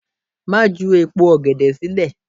Má ju èpo ọ̀gẹ̀dẹ̀ sílẹ̀!